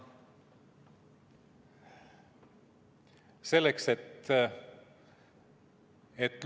Palun!